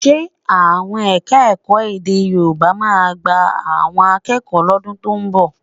Ṣe àwọn Ẹ̀ka-ẹ̀kọ́ èdè Yorùbá máa gba akẹ́kọ̀ọ́ lọ́dún tó ń bọ̀?